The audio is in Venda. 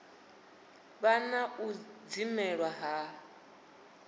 vha na u dzimelwa ha